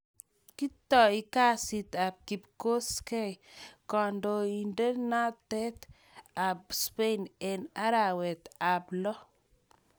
Kitoi kesiit ap Kipkosgei, Kandioinateet ap Spain en' araweet ap lo'